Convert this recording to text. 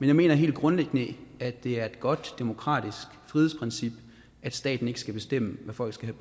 jeg mener helt grundlæggende at det er et godt demokratisk frihedsprincip at staten ikke skal bestemme hvad folk skal